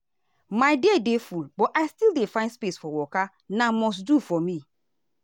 my day dey full but i still dey find space for waka na must do for me.